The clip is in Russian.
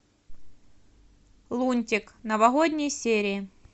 лунтик новогодние серии